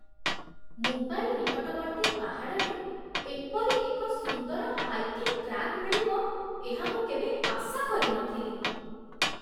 ମୁମ୍ବାଇ ନିକଟବର୍ତ୍ତୀ ପାହାଡ଼ରେ ଏପରି ସୁନ୍ଦର ହାଇକିଂ ଟ୍ରାକ୍ ମିଳିବ, ଏହା ମୁଁ କେବେ ଆଶା କରିନଥିଲି ।